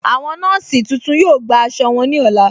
Awọn nọọ̀sí tuntun yọ̀ọ́ gbà àṣọ wọn ní ọlá.